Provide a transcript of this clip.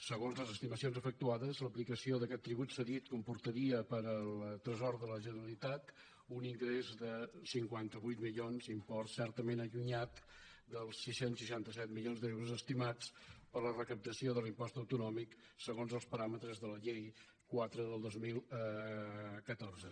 segons les estimacions efectuades l’aplicació d’aquest tribut cedit comportaria per al tresor de la generalitat un ingrés de cinquanta vuit milions import certament allunyat dels sis cents i seixanta set milions d’euros estimats per la recaptació de l’impost autonòmic segons els paràmetres de la llei quatre del dos mil catorze